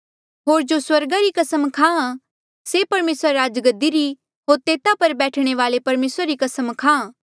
होर जो स्वर्गा री कसम खाहां से परमेसरा री राजगद्दी री होर तेता पर बैठणे वाल्ऐ परमेसरा री भी कसम खाहां